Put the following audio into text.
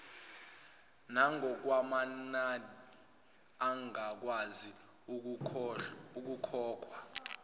nangokwamanani angakwazi ukukhokhwa